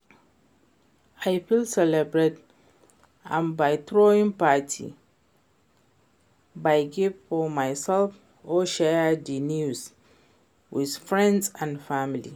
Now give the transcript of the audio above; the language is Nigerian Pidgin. I fit celebrate am by throwing party, buy gifts for myself or share di news with friends and family.